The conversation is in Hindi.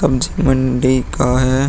सब्जी की मंडी का है।